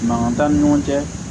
Mankan t'an ni ɲɔgɔn cɛ